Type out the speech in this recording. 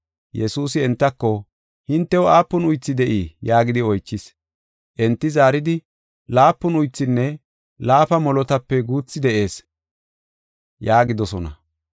Yesuusi entako, “Hintew aapun uythi de7ii?” yaagidi oychis. Enti zaaridi, “Laapun uythinne laafa molotape guuthi de7ees” yaagidosona.